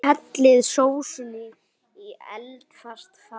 Hellið sósunni í eldfast fat.